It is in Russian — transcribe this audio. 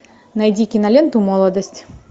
найди киноленту молодость